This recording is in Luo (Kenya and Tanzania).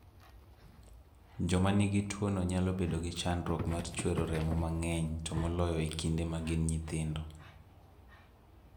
Joma nigi tuwono nyalo bedo gi chandruok mar chwero remo mang'eny, to moloyo e kinde ma gin nyithindo.